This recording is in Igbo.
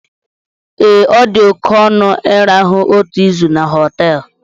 Ee, ọ dị oke ọnụ ịrahụ otu izu na họteelụ